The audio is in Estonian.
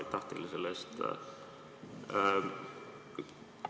Aitäh teile selle eest!